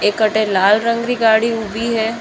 एक अठ लाल रंग री गाड़ी ऊबी है।